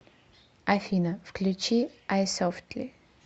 афина включи айсофтли